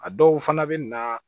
A dɔw fana bɛ na